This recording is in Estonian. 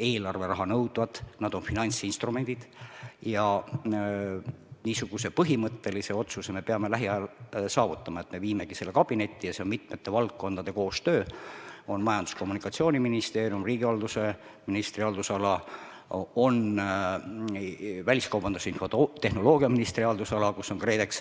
eelarveraha nõudvad, nad on finantsinstrumendid ja niisuguse põhimõttelise otsuse me peame lähiajal saavutama, et me viimegi selle kabinetti ja see on mitmete valdkondade koostöö: on Majandus- ja Kommunikatsiooniministeerium, riigihalduse ministri haldusala, on väliskaubandus- ja infotehnoloogiaministri haldusala, kus on KredEx.